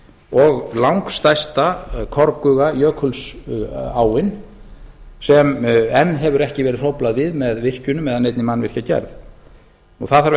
og langstærsta korguga jökulsáin sem enn hefur ekki verið hróflað við með virkjunum eða neinni mannvirkjagerð það þarf